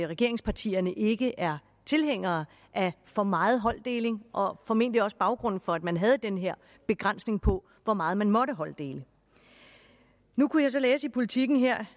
regeringspartierne ikke er tilhængere af for meget holddeling og det var formentlig også baggrunden for at man havde den her begrænsning på hvor meget man måtte holddele nu kunne jeg så læse i politiken her